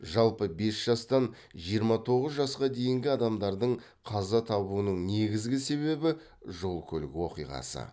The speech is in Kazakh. жалпы бес жастан жиырма тоғыз жасқа дейінгі адамдардың қаза табуның негізгі себебі жол көлік оқиғасы